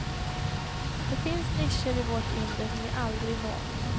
Det finns nischer i vårt inre som vi aldrig når.